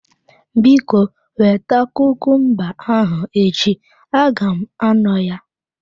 Biko, weta kumumba ahụ echi aga m anọ ya.